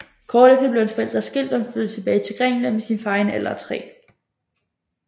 Kort efter blev hans forældre skilt og han flyttede tilbage til Grækenland med sin far i en alder af 3